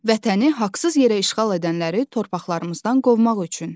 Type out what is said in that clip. Vətəni haqsız yerə işğal edənləri torpaqlarımızdan qovmaq üçün.